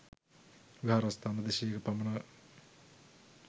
විහාරස්ථාන දෙසීයක පමණ